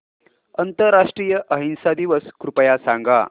आंतरराष्ट्रीय अहिंसा दिवस कृपया सांगा